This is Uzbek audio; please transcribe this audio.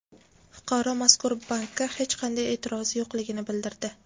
Fuqaro mazkur bankka hech qanday e’tirozi yo‘qligini bildirdi.